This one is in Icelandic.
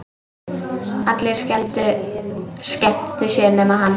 Allir skemmtu sér nema hann.